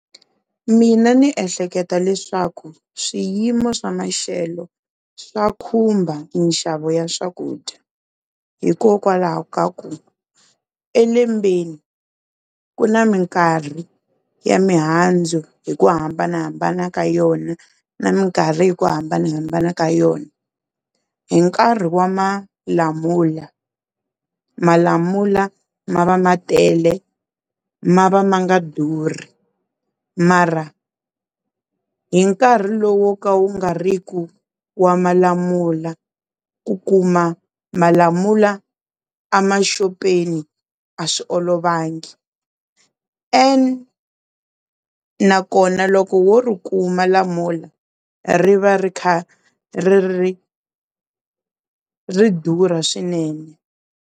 Mina ndzi ehleketa leswaku swiyimo swa maxelo swa khumba minxavo ya swakudya hikokwalaho ka ku elembeni ku na minkarhi ya mihandzu hi ku hambanahambana ka yona na minkarhi hi ku hambanahambana ka yona. Hi nkarhi wa malamula malamula ma va ma tele ma va ma nga durhi mara hi nkarhi lowu wo ka wu nga riki wa malamula ku kuma malamula a maxopeni a swi olovangi and nakona loko wo ri kuma lamula ri va ri kha ri ri durha swinene.